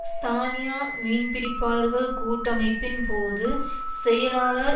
ஸ்பானியா மீன்பிடிப்பாளர்கள் கூட்டமைப்பின் போது செயலாளர்